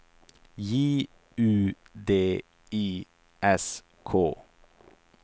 J U D I S K